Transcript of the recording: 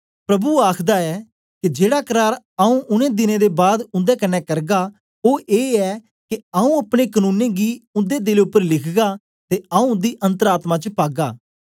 प्रभु आखदा ऐ के जेड़ा करार आऊँ उनै दिनें दे बाद उन्दे कन्ने करगा ओ ए ऐ के आऊँ अपने कनूनें गी उन्दे दिलें उपर लिखगा ते आऊँ उन्दी अन्तर आत्मा च पागा